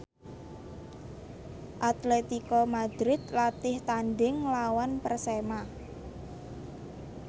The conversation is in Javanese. Atletico Madrid latih tandhing nglawan Persema